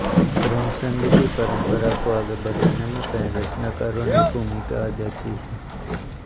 प्रेमचंद की परंपरा को आगे बढ़ाने में कई रचनाकारों ने भूमिका अदा की है